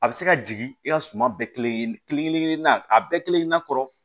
A bɛ se ka jigin i ka suma bɛɛ kelen kelen kelen na a bɛɛ kelen kelenna kɔrɔ